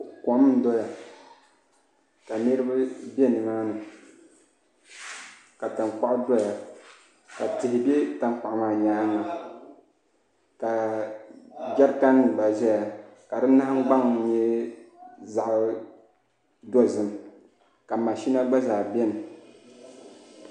Kom n doya ka niraba bɛ nimaani ka tankpaɣu doya ka tihi bɛ tankpaɣu maa nyaanga ka jɛrikan nim gba ʒɛya ka di nahangbaŋ nyɛ zaɣ dozim ka mashina gba zaa biɛni